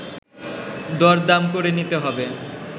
দরদাম করে নিতে হবে